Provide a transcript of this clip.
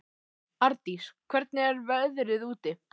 Ardís, hvernig er veðrið úti?